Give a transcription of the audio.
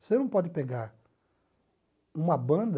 Você não pode pegar uma banda...